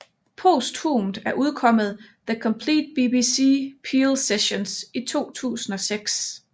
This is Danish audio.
Posthumt er udkommet The Complete BBC Peel Sessions i 2006